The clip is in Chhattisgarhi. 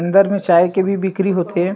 अन्दर मे चाय के भी बिक्री होथे ।